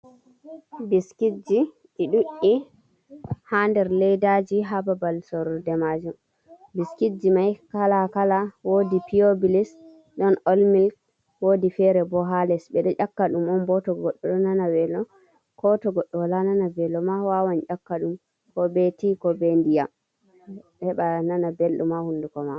Biskitji i ɗi ɗuɗ’i ha nder laddaji ha babal soruɗe majum biskitji mai kala kala wodi piobilis ɗon olmilk wodi fere bo ha les ɓeɗo ƴaka ɗum on bo to goɗɗo ɗo nana welo koto goɗɗo wala nana velo ma wawan ƴaka ɗum ko ɓe ndiyaman heba nana ɓelɗum ha hunduko ma.